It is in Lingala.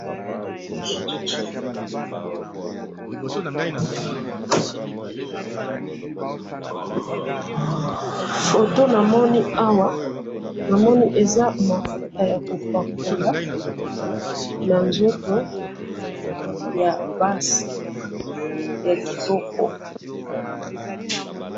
photo namoni awa, namoni eza mafuta ya ko pakola na nzoto ya basi, ya kitoko